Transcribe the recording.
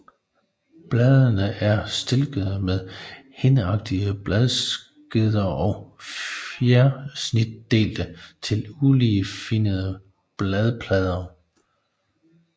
Bladene er stilkede med hindeagtige bladskeder og fjersnitdelte til uligefinnede bladplader